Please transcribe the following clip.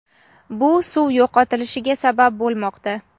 bu suv yo‘qotilishiga sabab bo‘lmoqda.